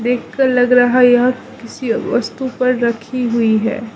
देख कर लग रहा यह किसी वस्तु पर रखी हुई है।